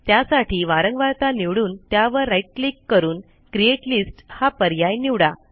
त्यासाठी वारंवारता निवडून त्यावर राईट क्लिक करून क्रिएट लिस्ट हा पर्याय निवडा